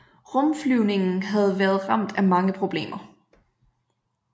Rumflyvningen havde været ramt af mange problemer